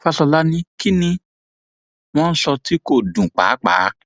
fàsọlà ní kín ni wọn ń sọ tí kò dùn pàápàá